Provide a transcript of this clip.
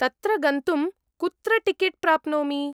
तत्र गन्तुं कुत्र टिकेट् प्राप्नोमि?